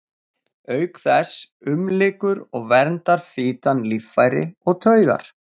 Auk þess umlykur og verndar fitan líffæri og taugar.